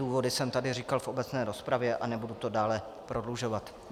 Důvody jsem tady říkal v obecné rozpravě a nebudu to dále prodlužovat.